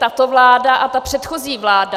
tato vláda a ta předchozí vláda...